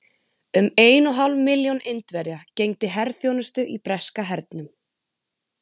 Um ein og hálf milljón Indverja gegndi herþjónustu í breska hernum.